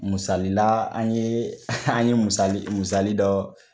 Musali la an ye an ye musali dɔ